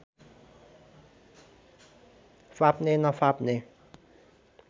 फाप्ने नफाप्ने